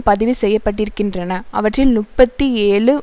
பதிவு செய்ய பட்டிருக்கின்றன அவற்றில் முப்பத்தி ஏழு